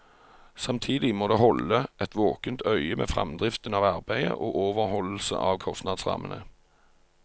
Samtidig må det holde et våkent øye med fremdriften av arbeidet og overholdelse av kostnadsrammene.